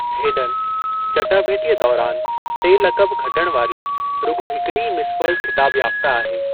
Hayden, चटाभेटीअ दौरान टे लक़ब खटण वारी रुॻो हिकड़ी ई मिस वर्ल्ड ख़िताब याफ़्ता आहे।